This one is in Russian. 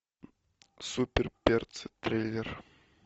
супер перцы трейлер